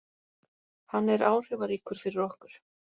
Hann er áhrifaríkur fyrir okkur.